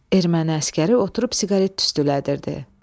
Erməni əsgəri oturub siqaret tüstülədirdi.